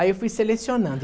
Aí eu fui selecionando.